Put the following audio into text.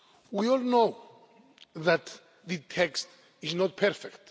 We all know that the text is not perfect.